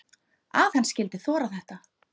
Að hann skyldi þora þetta!